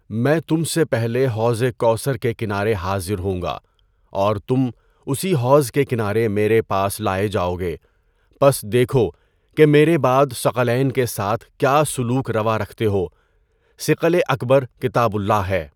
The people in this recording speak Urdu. میں تم سے پہلے حوض کوثر کے کنارے حاضر ہونگا اور تم اسی حوض کے کنارے میرے پاس لائے جاؤگے۔ پس دیکھو کہ میرے بعد ثقلَین کے ساتھ کیا سلوک روا رکھتے ہو، ثِقلِ اکبر کتابُ اللہ ہے۔